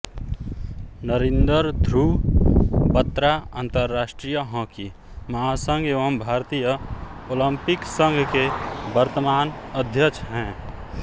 नरिंदर ध्रुव बत्रा अंतरराष्ट्रीय हॉकी महासंघ एवं भारतीय ओलिंपिक संघ के वर्तमान अध्यक्ष हैं